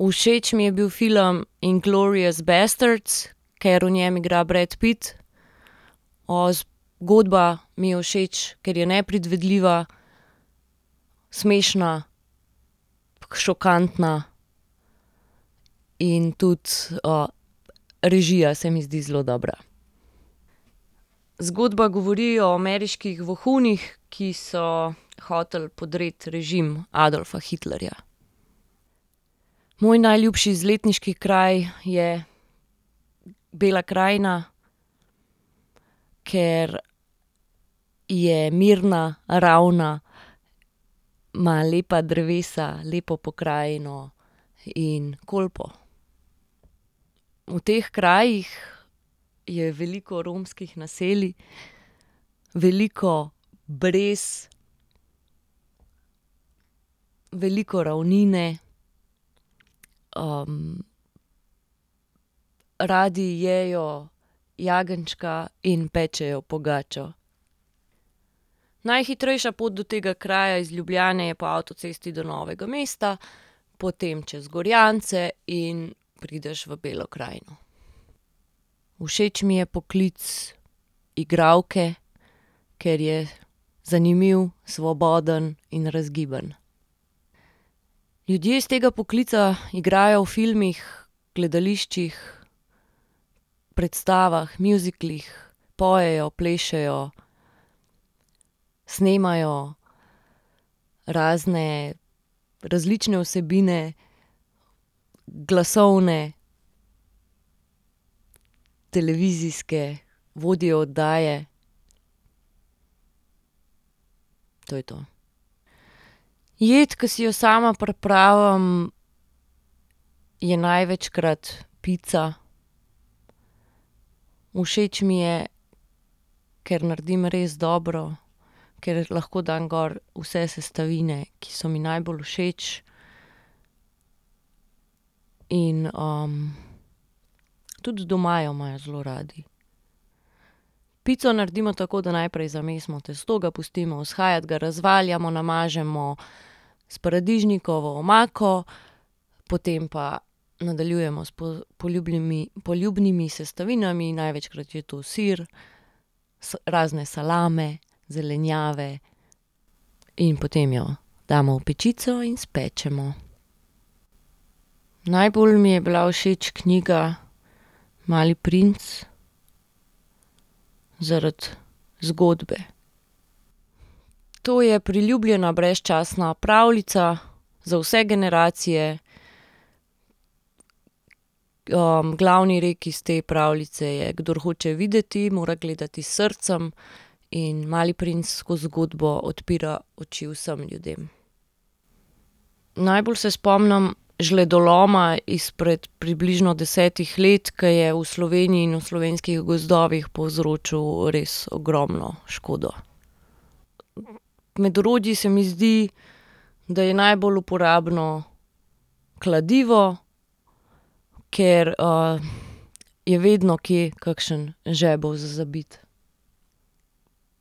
Všeč mi je bil film Inglorious bastards, ker v njem igra Brad Pitt. zgodba mi je všeč, ker je nepredvidljiva, smešna, tako šokantna in tudi, režija se mi zdi zelo dobra. Zgodba govori o ameriških vohunih, ki so hoteli podreti režim Adolfa Hitlerja. Moj najljubši izletniški kraj je Bela krajina, ker je mirna, ravna, ima lepa drevesa, lepo pokrajino in Kolpo. V teh krajih je veliko romskih naselij. Veliko brez, veliko ravnine, Radi jejo jagenjčka in pečejo pogačo. Najhitrejša pot do tega kraja iz Ljubljane je po avtocesti do Novega mesta. Potem čez Gorjance in prideš v Belo krajino. Všeč mi je poklic igralke, ker je zanimiv, svoboden in razgiban. Ljudje iz tega poklica igrajo v filmih, gledališčih, predstavah, mjuziklih, pojejo, plešejo, snemajo razne, različne vsebine, glasovne, televizijske, vodijo oddaje. To je to. Jed, ki si jo sama pripravim, je največkrat pica. Všeč mi je, ker naredim res dobro, ker lahko dam gor vse sestavine, ki so mi najbolj všeč, in, tudi doma jo imajo zelo radi. Pico naredimo tako, da najprej zamesimo testo, ga pustimo vzhajati, ga razvaljamo, namažemo s paradižnikovo omako, potem pa nadaljujemo s poljubnimi sestavinami. Največkrat je to sir razne salame, zelenjave in potem jo damo v pečico in spečemo. Najbolj mi je bila všeč knjiga Mali princ. Zaradi zgodbe. To je priljubljena brezčasna pravljica, za vse generacije. glavni rek iz te pravljice je "Kdor hoče videti, mora gledati s srcem" in Mali princ skoz zgodba odpira oči vsem ljudem. Najbolj se spomnim žledoloma izpred približno desetih let, ki je v Sloveniji in slovenskih gozdovih povzročil res ogromno škodo. Med orodji se mi zdi, da je najbolj uporabno kladivo. Ker, je vedno kje kakšen žebelj za zabiti.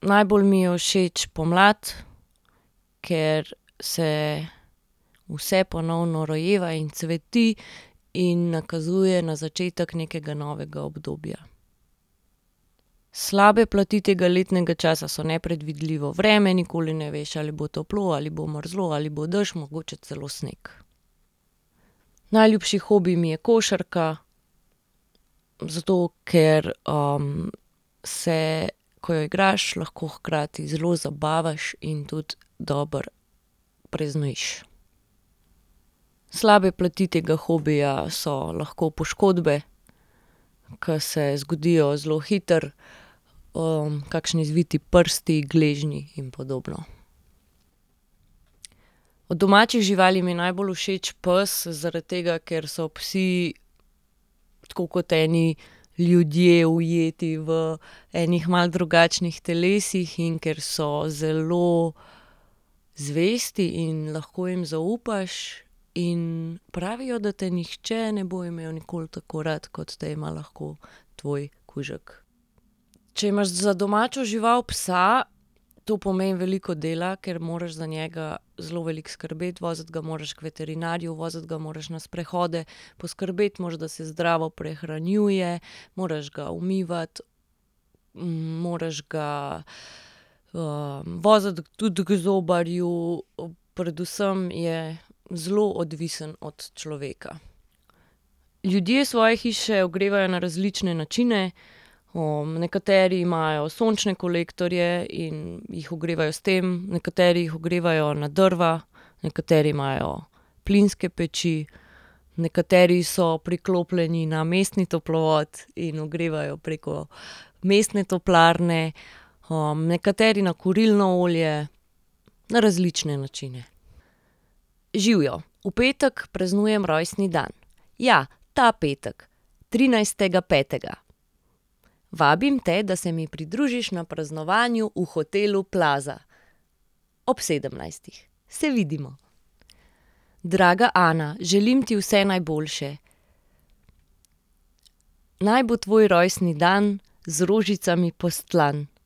Najbolj mi je všeč pomlad, ker se vse ponovno rojeva in cveti in nakazuje na začetek nekega novega obdobja. Slabe plati tega letnega časa so nepredvidljivo vreme, nikoli ne veš, ali bo toplo, ali bo mrzlo, ali bo dež, mogoče celo sneg. Najljubši hobi mi je košarka, zato ker, se, ko jo igraš, hkrati zelo zabavaš in tudi dobro preznojiš. Slabe plati tega hobija so lahko poškodbe, ker se zgodijo zelo hitro. kakšni zviti prsti, gležnji in podobno. Od domačih živali mi je najbolj všeč pes, zaradi tega, ker so psi, tako kot eni ljudje, ujeti v ene malo drugačnih telesih in ker so zelo zvesti in lahko jim zaupaš. In pravijo, da te nihče ne bo imel nikoli tako rad, kot te ima lahko tvoj kužek. Če imaš za domačo žival psa, to pomeni veliko dela, ker moraš za njega zelo veliko skrbeti, voziti ga moraš k veterinarju, voziti ga moraš na sprehode, poskrbeti moraš, da se zdravo prehranjuje, moraš ga umivati, moraš ga, voziti tudi k zobarju, predvsem je zelo odvisno od človeka. Ljudje svoje hiše ogrevajo na različne načine. nekateri imajo sončne kolektorje in jih ogrevajo s tem, nekateri jih ogrevajo na drva, nekateri imajo plinske peči, nekateri so priklopljeni na mestni toplovod in ogrevajo preko mestne toplarne. nekateri na kurilno olje, na različne načine. Živjo, v petek praznujem rojstni dan. Ja, ta petek, trinajstega petega. Vabim te, da se mi pridružiš na praznovanju v hotelu Plaza. Ob sedemnajstih. Se vidimo. Draga Ana, želim ti vse najboljše. Naj bo tvoj rojstni dan z rožicami postlan.